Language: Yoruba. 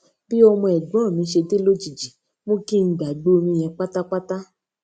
bí ọmọ ègbón mi ṣe dé lójijì mú kí n gbàgbé orin yen pátápátá